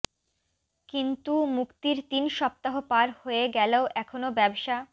কিন্তু মুক্তির তিন সপ্তাহ পার হয়ে গেলেও এখনও ব্যবসা